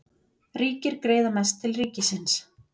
Ríkir greiða mest til ríkisins